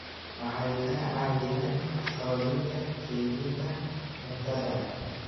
Waxay ka caawiyaan xoojinta kaydinta cuntada.